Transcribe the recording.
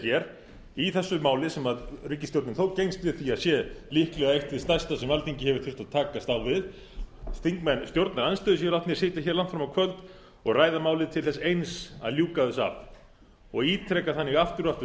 hér í þessu máli sem ríkisstjórnin þó gengst við því að sé líklega eitt hið stærsta sem alþingi hefur þurft að takast á við þingmenn stjórnarandstöðunnar eru látnir sitja langt fram á kvöld og ræða málin til þess eins að ljúka þessu af og ítreka þannig aftur og aftur